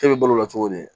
E bɛ balo o la cogo di